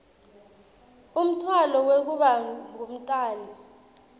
umtfwalo wekuba ngumtali